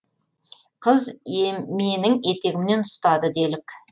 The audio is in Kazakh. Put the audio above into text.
қыз менің етегімнен ұстады делік